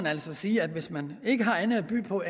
altså sige at hvis man ikke har andet at byde på